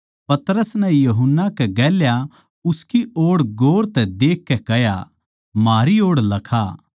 पतरस नै यूहन्ना कै गेल्या उसकी ओड़ गौर तै देखकै कह्या म्हारी ओड़ लखा